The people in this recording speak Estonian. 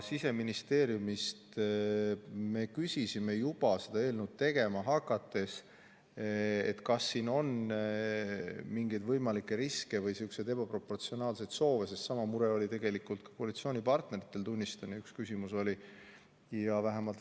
Siseministeeriumist me küsisime juba seda eelnõu tegema hakates, kas siin on mingeid võimalikke riske või sihukesi ebaproportsionaalseid soove, sest sama mure oli tegelikult ka koalitsioonipartneritel, tunnistan, üks küsimus oli neil selle kohta.